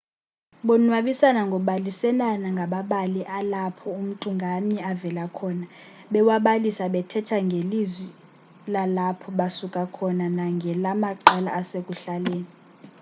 bonwabisana ngobaliselana ngamabali alapho umntu ngamnye avela khona bewabalisa bethetha ngelizwi lalapho basuka khona nangelamaqela asekuhlaleni